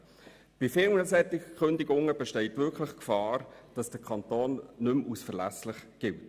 Gäbe es viele solche Kündigungen bestünde wirklich die Gefahr, dass der Kanton nicht mehr als verlässlich gilt.